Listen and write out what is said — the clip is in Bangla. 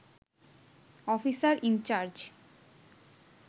officer in charge